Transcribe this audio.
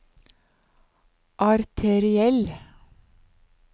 arteriell